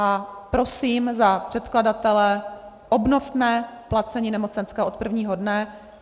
A prosím za předkladatele, obnovme placení nemocenské od prvního dne.